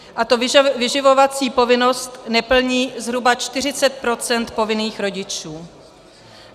A to vyživovací povinnost neplní zhruba 40 % povinných rodičů.